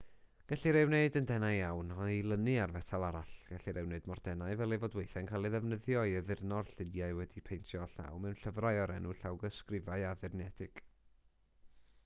gellir ei wneud yn denau iawn a'i lynu ar fetal arall gellir ei wneud mor denau fel ei fod weithiau'n cael ei ddefnyddio i addurno'r lluniau wedi'u paentio â llaw mewn llyfrau o'r enw llawysgrifau addurnedig